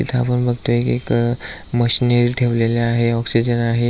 इथ आपण बगतोय एक मशनरी ठेवल्याला आहे ऑक्सीजन आहे.